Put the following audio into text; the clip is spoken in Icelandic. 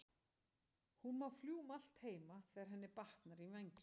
Hún má fljúga um allt heima þegar henni batnar í vængnum.